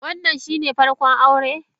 Wannan shine farko aure?